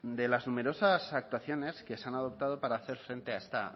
de las numerosas actuaciones que se han adoptado para hacer frente a esta